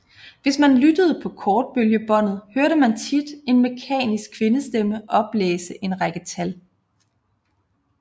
Hvis man lyttede på kortbølgebåndet hørte man tit en mekanisk kvindestemme oplæse en række tal